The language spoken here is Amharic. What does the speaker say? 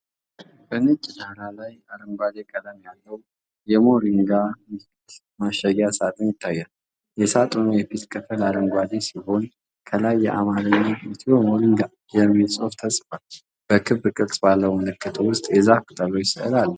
በነጭ ዳራ ላይ አረንጓዴ ቀለም ያለው የሞሪንጋ ምርት ማሸጊያ ሳጥን ይታያል። የሳጥኑ የፊት ክፍል አረንጓዴ ሲሆን፣ ከላይ በአማርኛ "ኢትዮ ሞሪንጋ" የሚል ጽሑፍ ተጽፏል። በክብ ቅርጽ ባለው ምልክት ውስጥ የዛፍ ቅጠሎች ሥዕል አለ።